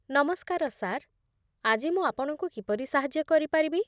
ନମସ୍କାର, ସାର୍। ଆଜି ମୁଁ ଆପଣଙ୍କୁ କିପରି ସାହାଯ୍ୟ କରିପାରିବି?